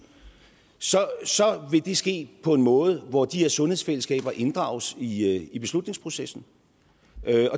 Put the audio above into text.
så vil det ske på en måde hvor de her sundhedsfællesskaber inddrages i i beslutningsprocessen